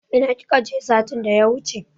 Ina kika je satin da ya wuche?